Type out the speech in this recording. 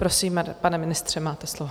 Prosím, pane ministře, máte slovo.